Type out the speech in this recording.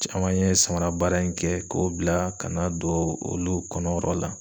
Caman ye samara baara in kɛ k'o bila ka na don olu kɔnɔ yɔrɔ la.